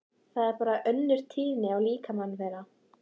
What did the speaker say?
Það er bara önnur tíðni í líkamanum þeirra.